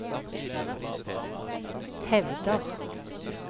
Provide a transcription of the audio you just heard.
hevder